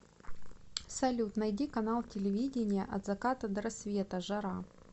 салют найди канал телевидения от заката до рассвета жара